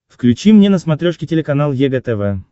включи мне на смотрешке телеканал егэ тв